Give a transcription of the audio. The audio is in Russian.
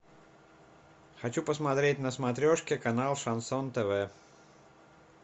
хочу посмотреть на смотрешке канал шансон тв